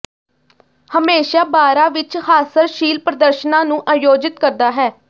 ਹਮੇਸ਼ਾ ਬਾਰਾਂ ਵਿੱਚ ਹਾਸਰਸ਼ੀਲ ਪ੍ਰਦਰਸ਼ਨਾਂ ਨੂੰ ਆਯੋਜਿਤ ਕਰਦਾ ਹੈ